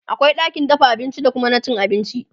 akwai ɗakin dafa abinci da Kuma na cin abinci